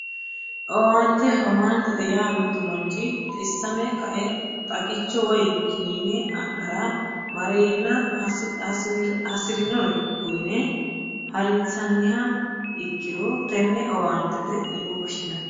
Owaante owaanteete yaa mittu manchi xissame kae xagicho woyi kiniine adhara mareenna hasirinore uyine harinsannisiha ikkiro tenne owaantete yine woshshineemmo